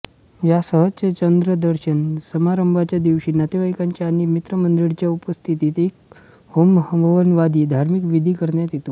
या सहस्रचंद्रदर्शन समारंभाच्या दिवशी नातेवाईकांच्या आणि मित्रमंडळींच्या उपस्थितीत एक होमहवनादी धार्मिक विधी करण्यात येतो